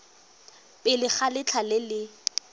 pele ga letlha le le